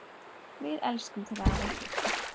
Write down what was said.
Við elskum þig, afi.